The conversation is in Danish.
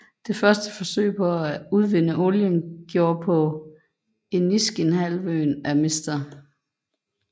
Det første forsøg på at udvinde olien gjordes på Iniskinhalvøen af Mr